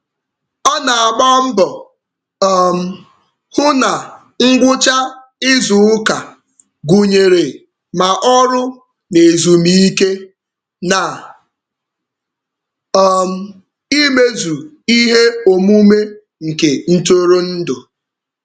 Ọ na-agba mbọ um hụ na ngwụcha izuụka gụnyere ma ọrụ na ezumike, na um imezu ihe omume nke ntụrụndụ. um